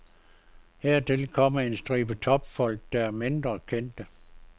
Hertil kommer en stribe topfolk, der er mindre kendte.